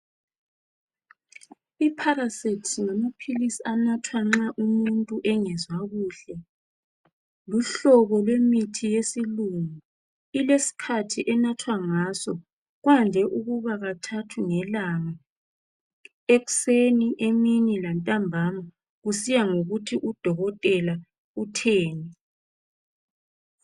Iparacet ngamaphilisi anathwa nxa umuntu engezwa kuhle. Luhlobo lwemuthi yesilungu, ilesikhathi enathwa ngaso. Kwande ukuba kathathu ngelanga, ekseni, emini lantambama kusiya ngokuthi udokotela utheni.